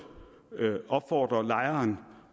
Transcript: opfordre lejeren